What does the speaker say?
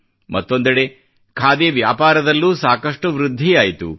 ಮತ್ತೊಂದೆಡೆ ಖಾದಿ ವ್ಯಾಪಾರದಲ್ಲೂ ಸಾಕಷ್ಟು ವೃದ್ಧಿಯಾಯಿತು